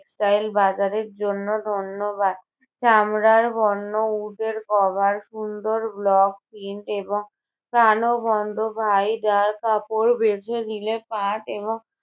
textile বাজারের জন্য ধন্যবাদ। চামড়ার পণ্য, উটের cover সুন্দর block print এবং প্রাণবন্ত কাপড় বেছে নিলে পাট এবং